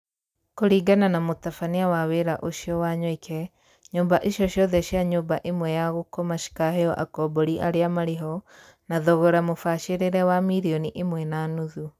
Kũringana na mũtabania wa wĩra ũcio, Wanyoike, nyũmba icio ciothe cia nyũmba ĩmwe ya gũkoma cikaheo akombori arĩa marĩho na thogora mũbacĩrire wa mirioni ĩmwe na nuthu.